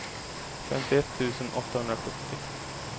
femtioett tusen åttahundrasjuttio